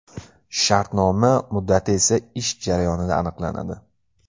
Shartnoma muddati esa ish jarayonida aniqlanadi.